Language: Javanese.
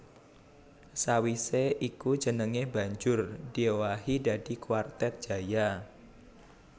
Sawisé iku jenengé banjur diowahi dadi Kwartet Jaya